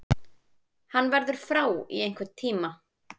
Hann verður frá í einhvern tíma.